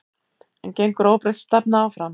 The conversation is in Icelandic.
En gengur óbreytt stefna áfram?